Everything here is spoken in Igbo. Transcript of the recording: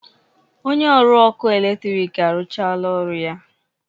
Onye ọrụ ọkụ eletrik arụchaala ọrụ ya